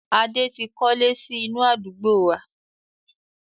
Adé tí kọ́lé sì inú àdúgbò wá.